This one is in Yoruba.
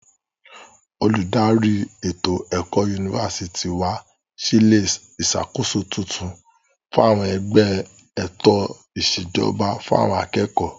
Olùdarí ètò ẹ̀kọ́ yunifásítì wa sí ilé ìṣàkóso tuntun fún àwọn ẹgbẹ́ ètò ìṣèjọba fún àwọn akẹ́kọ̀ọ́.